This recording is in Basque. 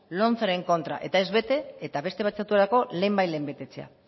lomceren kontra eta ez bete eta beste batzuetarako lehenbailehen betetzea